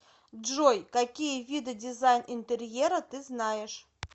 джой какие виды дизайн интерьера ты знаешь